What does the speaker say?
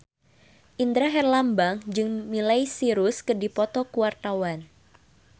Indra Herlambang jeung Miley Cyrus keur dipoto ku wartawan